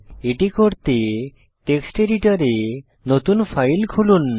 এটি করতে টেক্সট এডিটরে নতুন ফাইল খুলুন